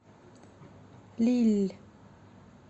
лилль